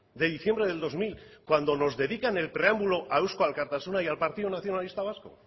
de diciembre del dos mil cuando nos dedican el preámbulo a eusko alkartasuna y al partido nacionalista vasco